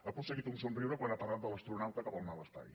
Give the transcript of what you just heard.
ha aconseguit un somriure quan ha parlat de l’astronauta que vol anar a l’espai